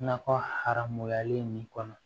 Nakɔ haramuyalen nin kɔnɔ